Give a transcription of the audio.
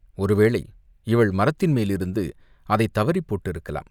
ஒருவேளை இவள் மரத்தின் மேலிருந்து அதைத் தவறிப் போட்டிருக்கலாம்.